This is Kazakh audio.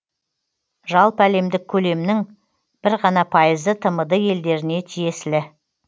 жалпыәлемдік көлемнің бір ғана пайызы тмд елдеріне тиесілі